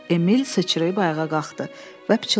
Emil sıçrayıb ayağa qalxdı və pıçıldadı.